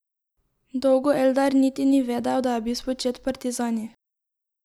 Dolgo Eldar niti ni vedel, da je bil spočet v partizanih.